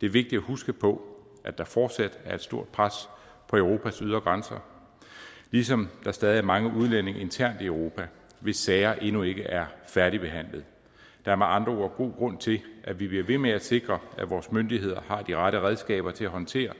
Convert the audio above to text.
det er vigtigt at huske på at der fortsat er et stort pres på europas ydre grænser ligesom der stadig er mange udlændinge internt i europa hvis sager endnu ikke er færdigbehandlet der er med andre ord god grund til at vi bliver ved med at sikre at vores myndigheder har de rette redskaber til at håndtere